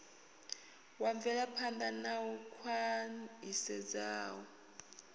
wa mvelaphan ḓa u khwaṱhisedzaho